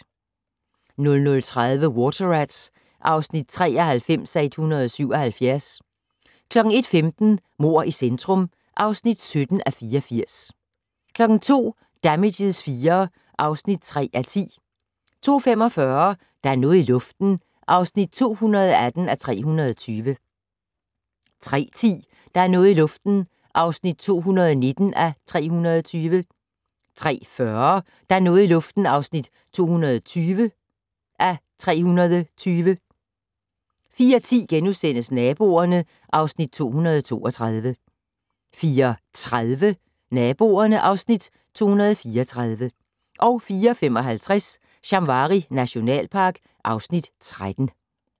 00:30: Water Rats (93:177) 01:15: Mord i centrum (17:84) 02:00: Damages IV (3:10) 02:45: Der er noget i luften (218:320) 03:10: Der er noget i luften (219:320) 03:40: Der er noget i luften (220:320) 04:10: Naboerne (Afs. 232)* 04:30: Naboerne (Afs. 234) 04:55: Shamwari nationalpark (Afs. 13)